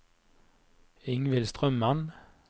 Ingvild Strømmen